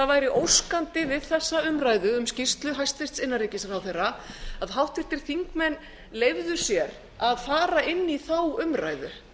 væri óskandi við þessa umræðu um skýrslu hæstvirts innanríkisráðherra að háttvirtir þingmenn leyfðu sér að fara inn í þá umræðu